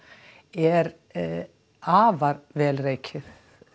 er afar vel rekið